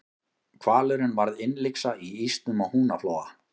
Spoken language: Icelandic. hvalurinn varð innlyksa í ísnum á húnaflóa